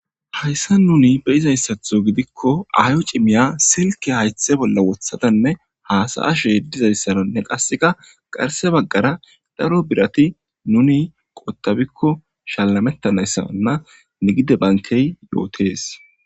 Hayssa nuni be'izayssatho gidikko aayo cimiya silke haythe bolla wothadanne haasa'ishe dizayssananne qasseka garsse baggara daro birati nuni qoxxabikko shallamettanayssa nuna nigide bankey yootees.